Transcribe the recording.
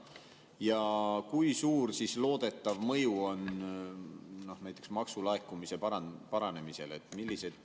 Ja kui suur loodetav mõju on sellel näiteks maksulaekumise paranemisele?